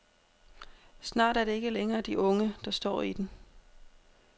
Snart er det ikke længere de unge, der står i den.